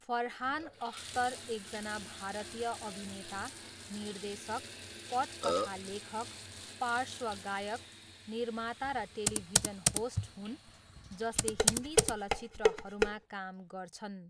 फरहान अख्तर एकजना भारतीय अभिनेता, निर्देशक, पटकथा लेखक, पार्श्व गायक, निर्माता र टेलिभिजन होस्ट हुन् जसले हिन्दी चलचित्रहरूमा काम गर्छन्।